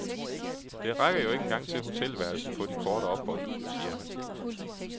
Det rækker jo ikke engang til hotelværelset på de korte ophold, siger han.